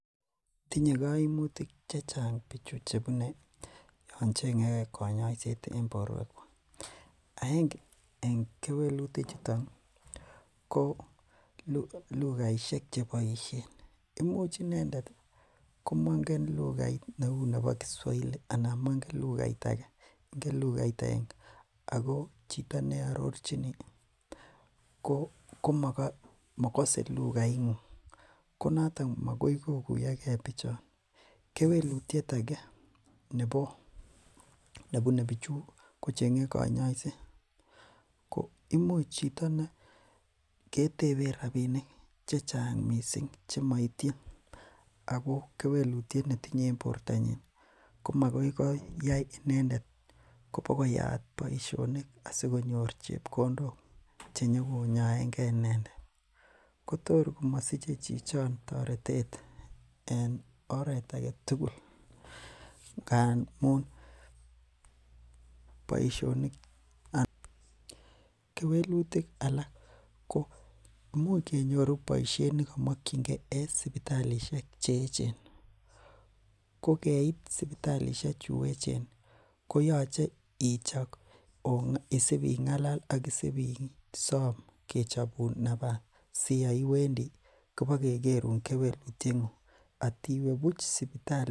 Tinye kaimutik chechang Yoon cheng'e konyoiset en boruek kuak. Agenge en kewelutik chuton ko lugaisiek chebaisien, imuch inei komang'en lughait neuu nebo kiswahili anan mangen lughait age , oko ingen lughait agenge. Ago chito nearorchini komagase lugait ng'ung ko noton magoi kokuyoge bichon . Kewelutiet age neibu e bichu ko cheng'e konyoiset koimuch chito kete en rabinik chechang missing chemaitien. Ako kewelutiet netinye en bortanyin ko makoi koit kobokoyaat boisionik. Asikonyor chebkondok chei nyokonyaenge inendet. Kotor komasiche chichon taretet en oret agetugul. Ngamuun boisionik Kewelutik alak ko imuch kenyoru boisiet nekamakienge en sibitalishek cheechen ko keit sibitalishek choton ih koyache isibi ng'alal asikechobun nafasit. Asi Yoon iwendii ibokekerun kewelutiet ng'ung. Atiwe buch sipitali.